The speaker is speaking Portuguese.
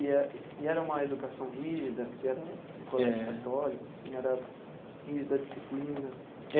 E era e era uma educação rígida, porque era um colégio católico, assim era rígida a disciplina.